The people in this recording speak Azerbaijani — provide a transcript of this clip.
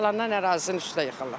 Yalandan ərazinin üstü yıxılır.